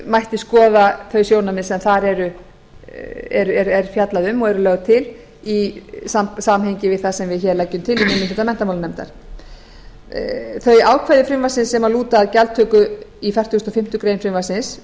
mætti skoða þau sjónarmið sem þar er fjallað um og eru lögð til í samhengi við það sem við hér leggjum til í minni hluta menntamálanefndar þau ákvæði frumvarpsins sem lúta að gjaldtöku í fertugustu og fimmtu grein